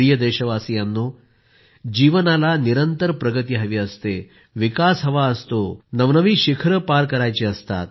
प्रिय देशवासियांनो जीवनाला निरंतर प्रगति हवी असते विकास हवा असतो नवनव्या उंची पार करायची असते